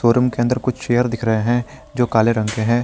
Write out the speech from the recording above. Room के अंदर कुछ चेयर दिख रहे हैं जो काले रंग के हैं।